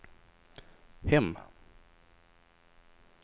hem